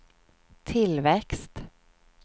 tillväxt